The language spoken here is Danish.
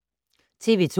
TV 2